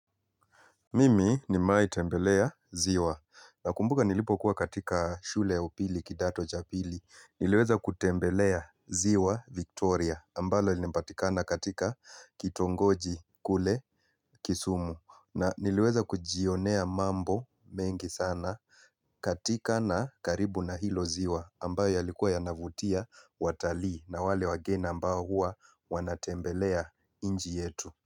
Mimi nimewai tembelea ziwa nakumbuka nilipokuwa katika shule upili kidato cha pili niliweza kutembelea ziwa Victoria ambalo linapatikana katika kitongoji kule kisumu na niliweza kujionea mambo mengi sana katika na karibu na hilo ziwa ambayo yalikuwa yanavutia watalii na wale wageni ambao huwa wanatembelea inchi yetu.